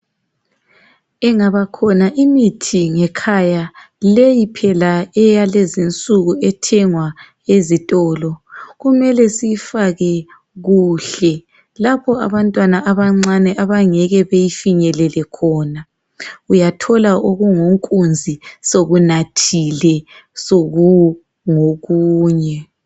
Ingabakhona imithi ngekhaya, leyi phela eyalezinsuku ethengwa ezitolo, kumele siyifake kuhle lapho abantwana abancane abangeke beyifinyelelekhona .Uyathola okungonkunzi sokunathile sokungokunye.